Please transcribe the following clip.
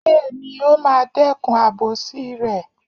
Bẹ́ẹ̀ni, ó máa dẹ́kun àbòsí rẹ̀.